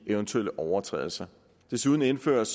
eventuelle overtrædelser desuden indføres